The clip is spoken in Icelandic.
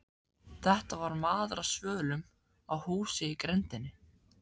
Þetta var maður á svölum á húsi í grenndinni.